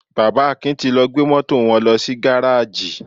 Bàbá Akin ti lọ gbé Mọ́tò wọn lọ sí gáráàjì.